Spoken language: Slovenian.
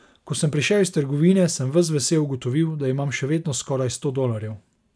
Ko sem prišel iz trgovine, sem ves vesel ugotovil, da imam še vedno skoraj sto dolarjev.